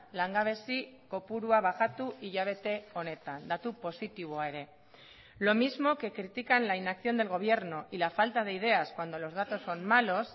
langabezi kopurua bajatu hilabete honetan datu positiboa ere lo mismo que critican la inacción del gobierno y la falta de ideas cuando los datos son malos